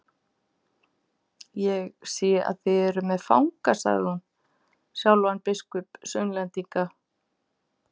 Ég sé þið eruð með fanga, sagði hún, sjálfan biskup Sunnlendinga.